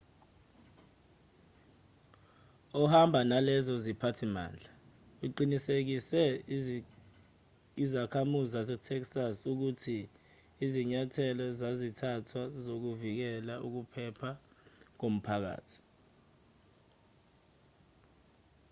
ehamba nalezo ziphathimandla uqinisekise izakhamuzi zasetexas ukuthi izinyathelo zazithathwa zokuvikela ukuphepha komphakathi